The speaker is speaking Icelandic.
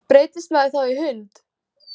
Breytist maður þá í hund?